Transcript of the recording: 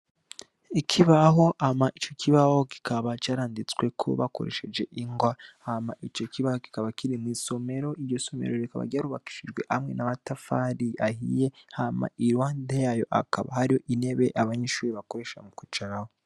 Ikibaho Hama ico kibaho kikaba caranditsweko bakoresheje ingwa, Hama ico kibaho kikaba kiri mw’isomero, iryo somero rikaba ryarubakishijwe amwe n’amatafari ahiye Hama iruhande yayo hakaba hari intebe abanyeshure bakoresha mukwicarako.